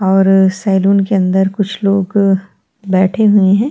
और सैलून के अंदर कुछ लोग बैठे हुए है।